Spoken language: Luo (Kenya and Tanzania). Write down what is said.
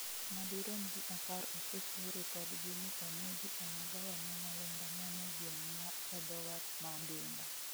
madirom ji apar osechiw ripodgi ni onegi e magawa ma Nyalenda mane gweng' ma edho wath ma dunga